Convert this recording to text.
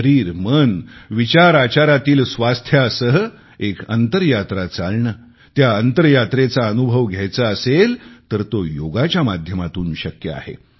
शरीरमन विचारआचारांतील स्वास्थ्यासह एक अंतरयात्रा चालणे त्या अंतरर्यात्रेचा अनुभव घ्यायचा असेल तर तो योगाच्या माध्यमातून शक्य आहे